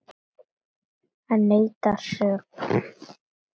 Hann neitar sök.